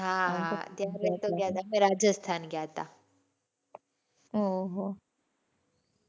હાં હાં અમે ગયા હતા રાજસ્થાન ગયા હતા. ઓહ હો